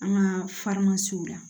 An ka la